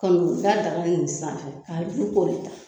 Kan'u da daga nin sanfɛ k'a ju kɔri ta